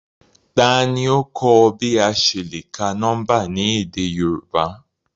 Tani o kọ ọ bi a ṣe le ka nọmba ni édé Yorùbá?